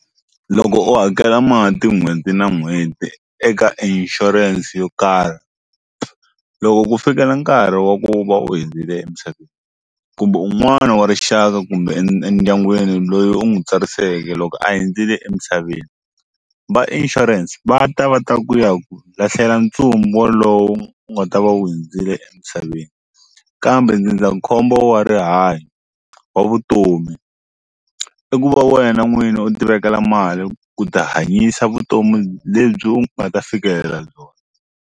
Loko u hakela mati n'hweti na n'hweti eka ishurense yo karhi loko ku fikela nkarhi wa ku va u hundzile emisaveni kumbe un'wana wa rixaka kumbe endyangwini loyi u n'wi tsarisiweke loko a hundzile emisaveni va insurance va ta va ta ku ya ku lahlela ntsumbu walowo wu nga ta va wu hundzile emisaveni kambe ndzindzakhombo wa rihanyo wa vutomi i ku va wena n'wini u ti vekela mali ku ti hanyisa vutomi lebyi u nga ta fikelela byona.